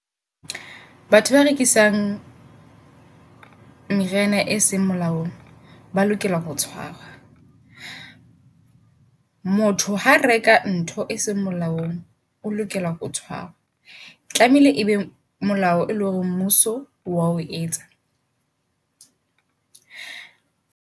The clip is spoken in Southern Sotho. Batho ba rekisang meriana e seng molaong ba lokela ho tshwarwa. Motho ha reka ka ntho e seng molaong, o lokela ho tshwarwa. Tlameile ebe molao e leng hore mmuso oa etsa.